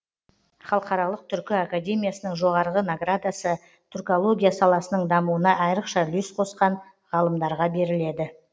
халықаралық түркі академиясының жоғарғы наградасы түркология саласының дамуына айрықша үлес қосқан ғалымдарға беріледі